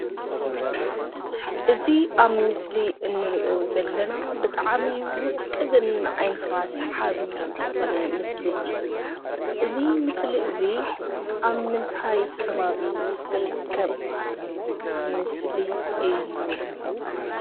እዚ ኣብ ምስሊ እንርእዮ ዘለና ብጣዕሚ ውቅብን ንዓይኒኻ ሳሐቢ ዝኮነ ምስሊ እዩ። እዚ ምስሊ እዚ ኣብ ምንታይ ከባቢ ዝርከብ ምስሊ እዩ?